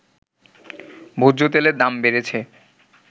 ভোজ্যতেলের দাম বেড়েছে